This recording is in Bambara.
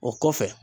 O kɔfɛ